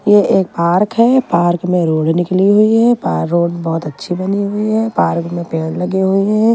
ये एक पार्क है। पार्क में रोड निकली हुई है। पार्क रोड बहोत अच्छी बनी हुई है। पार्क में पेड़ लगे हुए हैं।